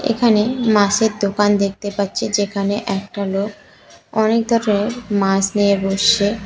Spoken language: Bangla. এখানে মাসের দোকান দেখতে পাচ্ছি যেখানে একটা লোক অনেক দরের মাস নিয়ে বসে।